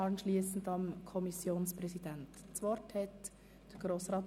Danach hat der Kommissionspräsident das Wort.